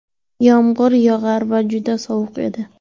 Yomg‘ir yog‘ar va juda sovuq edi.